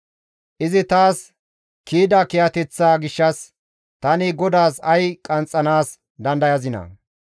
Izi taas kiyida kiyateththaa gishshas tani GODAAS ay qanxxanaas dandayazinaa?